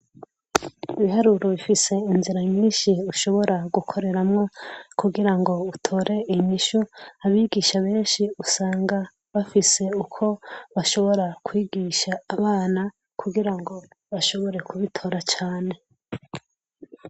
Ibiharuro bifise inzira ninshi ushobora gukoreramwo kugira ngo utore inishu abigisha benshi usanga bafise uko bashobora kwigisha abana kugira ngo bashobore kubitora cane.